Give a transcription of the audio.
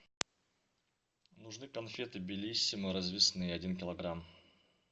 нужны конфеты белиссимо развесные один килограмм